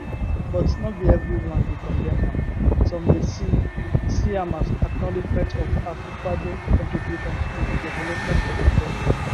but no be evri one dey condemn am some dey see see am as acknowledgement of akufoaddo contributions to di development of di kontri